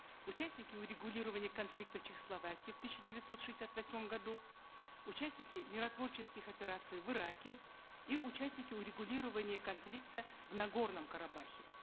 участники урегулирования конфликта в чехословакии в тысяча девятьсот шестьдесят восьмом году участники миротворческих операций в ираке и участники урегулирования конфликта в нагорном карабахе